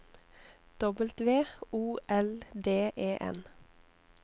W O L D E N